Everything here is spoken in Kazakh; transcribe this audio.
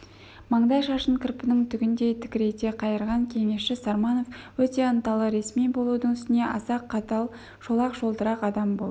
маңдай шашын кірпінің түгіндей тікірейте қайырған кеңесші сарманов өте ынталы ресми болудың үстіне аса қатал шолақ-шолтырақ адам болып